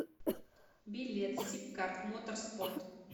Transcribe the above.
билет сибкарт моторспорт